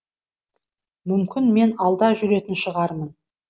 мүмкін мен алда жүретін шығармын